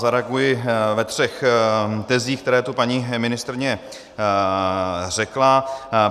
Zareaguji ve třech tezích, které tu paní ministryně řekla.